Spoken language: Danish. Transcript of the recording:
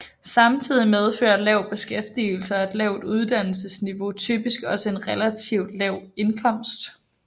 Samtidig medfører lav beskæftigelse og et lavt uddannelsesniveau typisk også en relativt lav indkomst